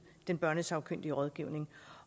den børnesagkyndige rådgivning